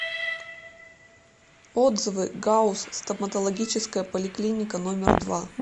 отзывы гауз стоматологическая поликлиника номер два